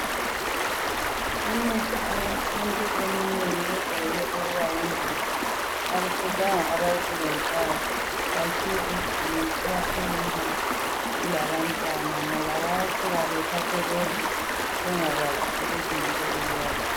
Imithi eyesintu eminengi yejayele ukuba yingozi. Akufuzanga abayisebenzisayo batshiye egcekeni ikakhulu nxa kulabantwana ngoba bayasuka bethathe bedle bengakwazi ukuthi yinto ebulalayo.